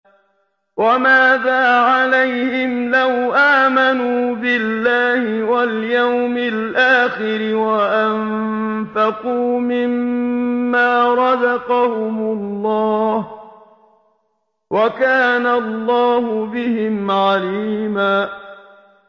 وَمَاذَا عَلَيْهِمْ لَوْ آمَنُوا بِاللَّهِ وَالْيَوْمِ الْآخِرِ وَأَنفَقُوا مِمَّا رَزَقَهُمُ اللَّهُ ۚ وَكَانَ اللَّهُ بِهِمْ عَلِيمًا